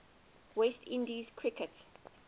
west indies cricket